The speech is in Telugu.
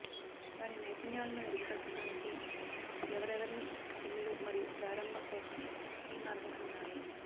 వారి నైపుణ్యాలను మెరుగుపర్చడానికి ఎవరెవరిని పిల్లలు మరియు ప్రారంభ కోసం స్కీ మార్గం ఉన్నాయి